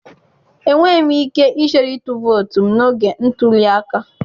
Enweghị m ike ichere ịtụ vootu m n'oge ntuli aka